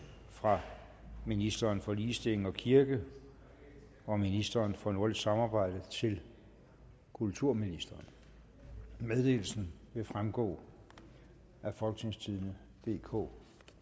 fra ministeren for ligestilling og kirke og ministeren for nordisk samarbejde til kulturministeren meddelelsen vil fremgå af folketingstidende DK